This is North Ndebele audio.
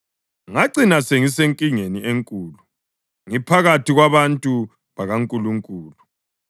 Ngacina sengisenkingeni enkulu ngiphakathi kwabantu bakaNkulunkulu.”